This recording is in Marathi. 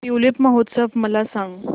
ट्यूलिप महोत्सव मला सांग